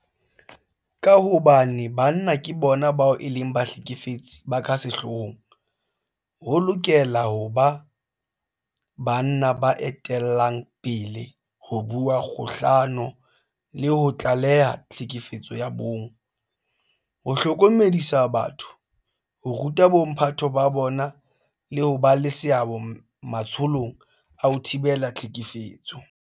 Ka hobane banna ke bona bao e leng bahlekefetsi ba ka sehloohong, ho lokela ho ba banna ba etellang pele ho bua kgahlano le ho tlaleha tlhekefetso ya bong, ho hlokomedisa batho, ho ruta bomphato ba bona le ho ba le seabo matsholong a ho thibela tlhekefetso.